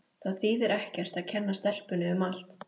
Það þýðir ekkert að kenna stelpunni um allt.